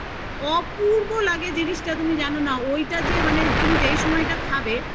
অপূর্ব লাগে জিনিসটা তুমি জানো না যে ঐটা মানে তুমি যেই সময়টা খাবে সেই